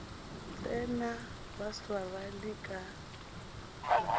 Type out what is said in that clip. tsena ba swarane ka matsogo